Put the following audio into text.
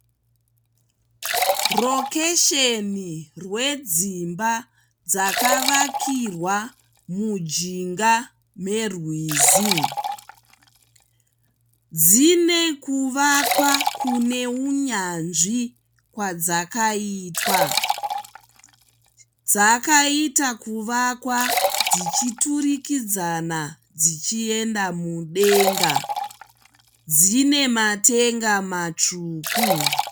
Rokesheni rwedzimba dzakavakirwa mujinga merwizi. Dzine kuvakwa kune hunyanzvi kwadzakaitwa. Dzakaita kuvakwa dzichiratidzana dzichienda mudenga. Dzine matenga matsvuku.